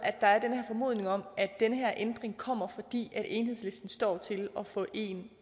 den formodning om at den her ændring kommer fordi enhedslisten står til at få en